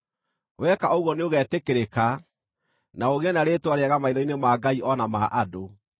Weka ũguo nĩũgeetĩkĩrĩka, na ũgĩe na rĩĩtwa rĩega maitho-inĩ ma Ngai o na ma andũ.